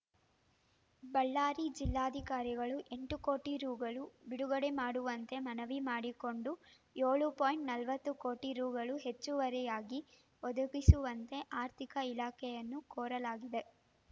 ಬಳ್ಳಾರಿ ಜಿಲ್ಲಾಧಿಕಾರಿಗಳು ಎಂಟು ಕೋಟಿ ರುಗಳು ಬಿಡುಗಡೆ ಮಾಡುವಂತೆ ಮನವಿ ಮಾಡಿಕೊಂಡು ಏಳು ಪಾಯಿಂಟ್ ನಲವತ್ತು ಕೋಟಿ ರುಗಳು ಹೆಚ್ಚುವರಿಯಾಗಿ ಒದಗಿಸುವಂತೆ ಆರ್ಥಿಕ ಇಲಾಖೆಯನ್ನು ಕೋರಲಾಗಿದೆ